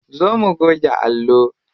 Zo mu goge allo.